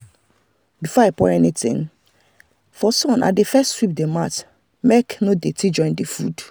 before i pour anything for sun i dey first sweep the mat make no dirt join the food.